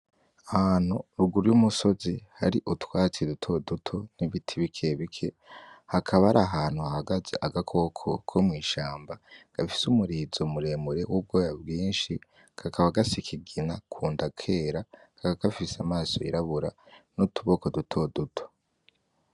Ahantu ruguru y'umusozi hari utwatsi dutoduto n'ibiti bikebike, hakaba hari ahantu hahagaze agakoko ko mw'ishamba gafise umurizo muremure uriko ubwoya bwinshi kakaba gasa ikigina kunda kera kakaba gafise amaso y'irabura n'utuboko dutoduto.